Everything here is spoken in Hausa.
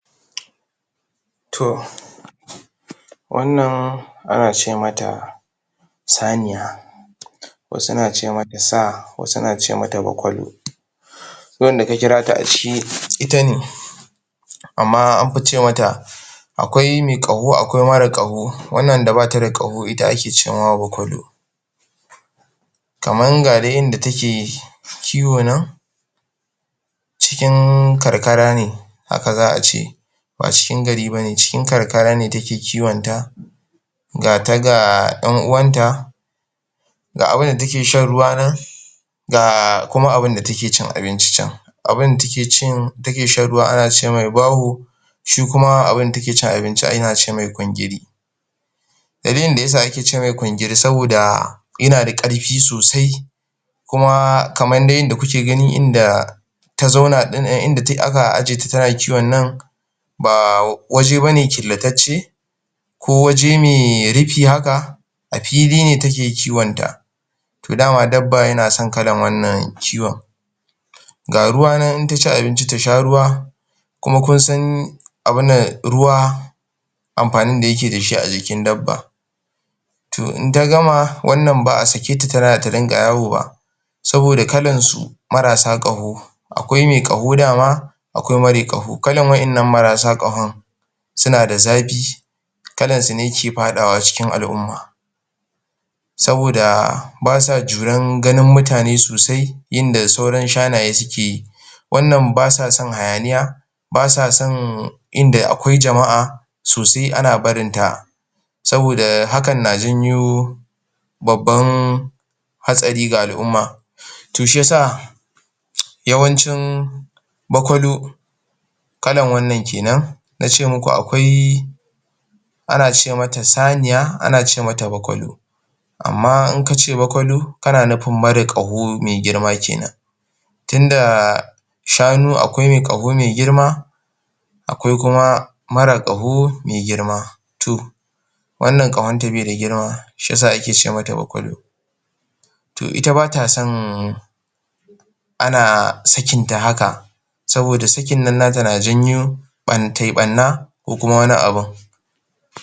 To, wannan ana ce mata saniya. Wasu na ce mata sa, wasu na ce mata bakwalo. Duk wanda ka kira ta a ciki, ita ne. Amma anfi ce mata Akwai me ƙaho, akwai mara ƙaho, wannan da bata da ƙaho ita ake ce ma wa bakkwalo. Kaman, ga dai yadda take kiwo nan, cikin karkara ne, haka za a ce. Ba cikin gari bane, cikin karkara ne take kiwon ta, gata ga ƴan uwan ta, ga abunda take shan ruwa nan, ga kuma abunda take cin abinci can. Abunda take cin take shan ruwa ana ce mishi baho, shi kuma abunda take cin abinci ana ce mai kwangiri. Dalilin da yasa ake ce mai kwangiri, saboda yina da ƙarfi sosai, kuma kamar dai yanda kuke gani, inda ta zauna din um inda aka aje ta tana kiwon nan, ba waje bane killatacce, ko waje me rufi haka. A fili ne take kiwon ta, to dama dabba yana son kalan wannan kiwon. Ga ruwa nan, idan taci abinci tasha ruwa, kuma dama kun san abun nan, ruwa amfanin da yake dashi a jikin dabba. To, in ta gama, wannan ba a sake ta tana ta dinga yawo ba, saboda kalan su marasa ƙaho, akwai me ƙaho dama, Akwai me ƙaho dama, akwai mare ƙaho. Kalan wa'innan mara sa ƙahon, suna da zafi, kalan su ne ke faɗawa cikin al'umma. Saboda ba sa juran ganin mutane sosai, inda sauran shanaye sukeyi. Wannan basa son hayaniya, basa son inda akwai jama'a, so sai ana barin ta. Saboda hakan na janyo babban hatsari ga al'umma. To, shi yasa yawancin bakwalo, kalan wannan kenan, na ce muku akwai ana ce mata saniya, ana ce mata bakwallo. Amma in kace bakwallo, kana nufin mara ƙaho me girma kenan, tinda shanu akwai me ƙaho me girma, akwai kuma mara ƙaho me girma. To, wannan ƙahonta be da girma, shi yasa ake ce mata bakwallo. To, ita bata san ana sakinta haka, saboda sakinnan nata na janyo tai ɓanna ko kuma wani abun.